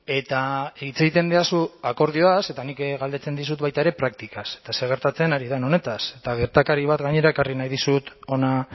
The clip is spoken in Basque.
eta hitz egiten didazu akordioaz eta nik galdetzen dizut baita ere praktikaz eta zer gertatzen ari den honetaz eta gertakari bat gainera ekarri nahi dizut hona